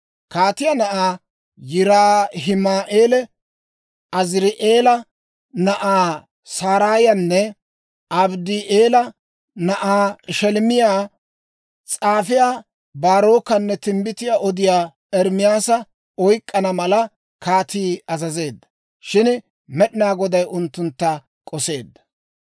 Kaatiyaa na'aa Yiraahima'eela, Aziri'eela na'aa Saraayanne Abddi'eela na'aa Sheleemiyaa, s'aafiyaa Baarokanne timbbitiyaa odiyaa Ermaasa oyk'k'ana mala kaatii azazeedda. Shin Med'inaa Goday unttuntta k'oseedda.